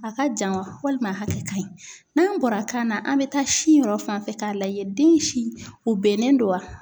A ka jan walima a hakɛ ka ɲi n'an bɔra kan na an bɛ taa si yɔrɔ fan fɛ k'a lajɛ den si u bɛnnen don wa.